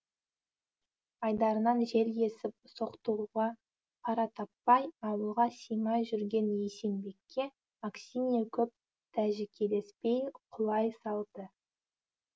айдарынан жел есіп соқтығуға қара таппай ауылға симай жүрген есенбекке аксинья көп тәжікелеспей құлай салды